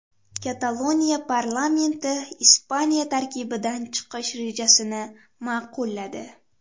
Kataloniya parlamenti Ispaniya tarkibidan chiqish rejasini ma’qulladi.